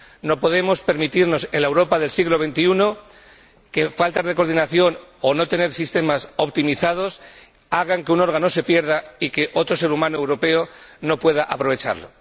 No podemos permitirnos en la Europa del siglo XXI que la falta de coordinación o de sistemas optimizados haga que un órgano se pierda y que otro ser humano europeo no pueda aprovecharlo.